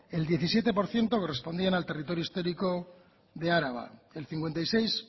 el diecisiete por ciento correspondían al territorio histórico de araba el cincuenta y seis